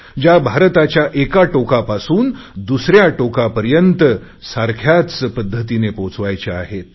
ज्या भारताच्या एका टोकापासून दुसऱ्या टोकापर्यंत सारख्याच पध्दतीने पोहोचवायच्या आहेत